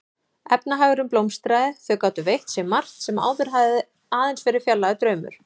Efnahagurinn blómstraði, þau gátu veitt sér margt sem áður hafði aðeins verið fjarlægur draumur.